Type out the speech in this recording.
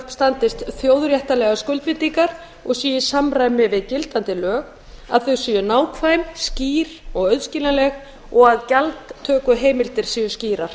standist þjóðréttarlegar skuldbindingar og séu í samræmi við gildandi lög að þau séu nákvæm skýr og auðskiljanleg og að gjaldtökuheimildir séu skýrar